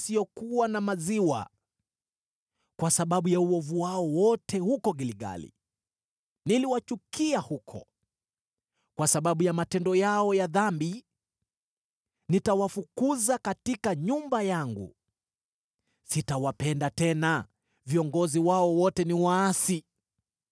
“Kwa sababu ya uovu wao wote huko Gilgali, niliwachukia huko. Kwa sababu ya matendo yao ya dhambi, nitawafukuza katika nyumba yangu. Sitawapenda tena, viongozi wao wote ni waasi.